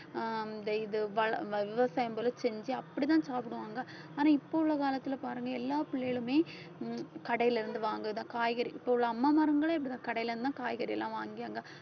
ஆஹ் இந்த இது வள~ வ~ விவசாயம் போல செஞ்சு அப்படிதான் சாப்பிடுவாங்க ஆனால் இப்ப உள்ள காலத்துல பாருங்க எல்லா பிள்ளைகளுமே ஹம் கடையில இருந்து வாங்குறதுதான் காய்கறி இப்ப உள்ள அம்மா மார்களே இப்படித்தான் கடையில இருந்துதான் காய்கறி எல்லாம் வாங்கி அங்க